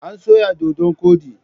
An soya dodon koɗi.